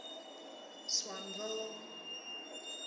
swanville